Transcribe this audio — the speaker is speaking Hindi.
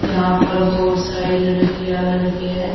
यहां पर बहुत सारे लड़कियां लड़के हैं।